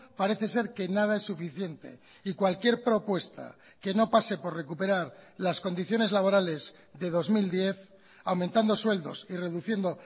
parece ser que nada es suficiente y cualquier propuesta que no pase por recuperar las condiciones laborales de dos mil diez aumentando sueldos y reduciendo